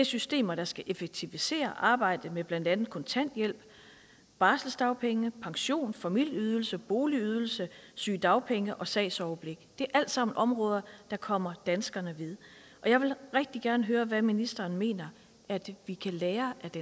systemer der skal effektivisere arbejdet med blandt andet kontanthjælp barselsdagpenge pension familieydelse boligydelse sygedagpenge og sagsoverblik det er alt sammen områder der kommer danskerne ved og jeg vil rigtig gerne høre hvad ministeren mener vi kan lære af